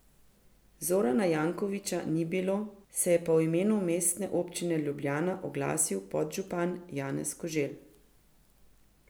Zorana Jankovića ni bilo, se je pa v imenu Mestne občine Ljubljana oglasil podžupan Janez Koželj.